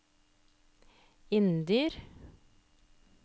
Inndyr